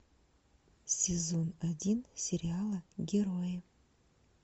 сезон один сериала герои